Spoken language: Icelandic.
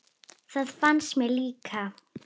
Það fannst mér líka.